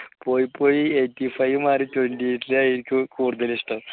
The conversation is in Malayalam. പോയി പോയി eighty five മാറി twenty eight ആയി എനിക്ക് കൂടുതൽ ഇഷ്ടം